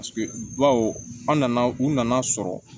Paseke bawo an nana u nana sɔrɔ